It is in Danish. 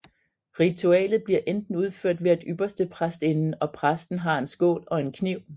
Ritualet bliver enten udført ved at ypperstepræstinden og præsten har en skål og en kniv